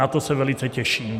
Na to se velice těším.